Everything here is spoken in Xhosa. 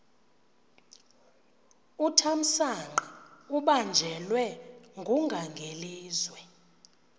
uthamsanqa ubanjelwe ngungangelizwe